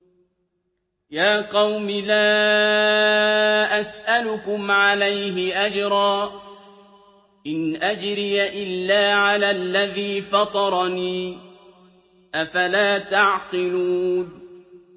يَا قَوْمِ لَا أَسْأَلُكُمْ عَلَيْهِ أَجْرًا ۖ إِنْ أَجْرِيَ إِلَّا عَلَى الَّذِي فَطَرَنِي ۚ أَفَلَا تَعْقِلُونَ